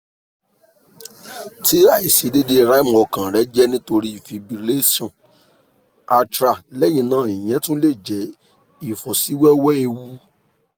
ti aiṣedeede rhythm ọkan rẹ jẹ nitori fibrillation atrial lẹhinna iyẹn tun le jẹ ifosiwewe eewu